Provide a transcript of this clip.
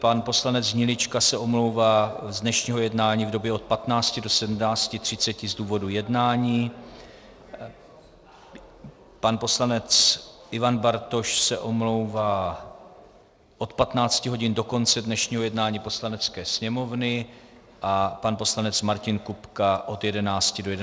Pan poslanec Hnilička se omlouvá z dnešního jednání v době od 15.00 do 17.30 z důvodu jednání, pan poslanec Ivan Bartoš se omlouvá od 15 hodin do konce dnešního jednání Poslanecké sněmovny a pan poslanec Martin Kupka od 11.00 do 11.45 z pracovních důvodů.